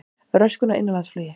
Röskun á innanlandsflugi